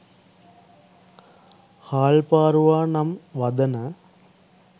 හාල් පාරුවා නම් වදන